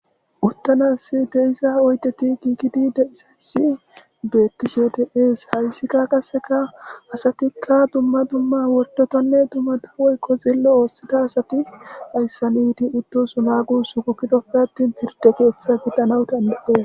Uttanas deisa oydeti giigidi deisasi betti shedees hayssikka kaseka asatikka dumma dumma wordotonne dummada woykko xillo oossida asati hayssaniti uttosu naagu su kukkitopfe attin firde keeththe fiddanawu tanbaee.